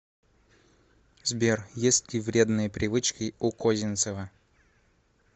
сбер есть ли вредные привычки у козинцева